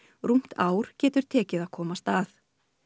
rúmt ár getur tekið að komast að